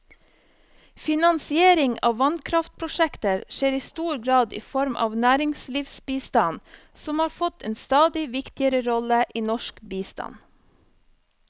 Finansiering av vannkraftprosjekter skjer i stor grad i form av næringslivsbistand, som har fått en stadig viktigere rolle i norsk bistand.